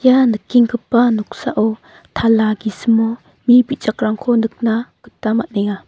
ia nikenggipa noksao tala gisimo mi bijakrangko nikna gita man·enga.